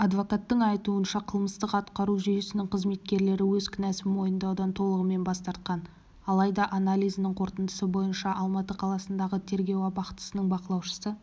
адвокаттың айтуынша қылмыстық-атқару жүйесінің қызметкерлері өз кінәсын мойындаудан толығымен бас тартқан алайда анализінің қорытындысы бойынша алматы қаласындағы тергеу абақтысының бақылаушысы